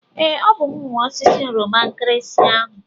Ee, ọ bụ m nwe osisi oroma nkirinsi ahụ.